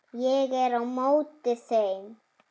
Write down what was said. Ég er á móti þeim.